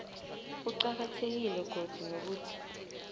kuqakathekile godu nokuthi